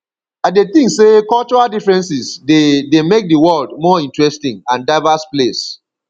i dey think say cultural differences dey dey make di world more interesting and diverse place